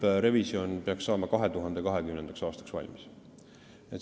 See lõpprevisjon peaks valmis saama 2020. aastaks.